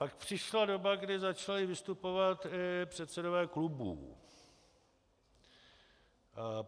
Pak přišla doba, kdy začali vystupovat i předsedové klubů.